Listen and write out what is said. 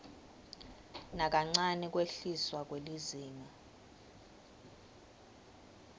nakancane kwehliswa kwelizinga